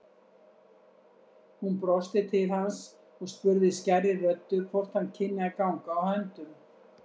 Hún brosti til hans og spurði skærri röddu hvort hann kynni að ganga á höndum.